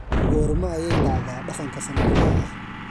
Goorma ayay dhacdaa dhaqanka sannadlaha ah?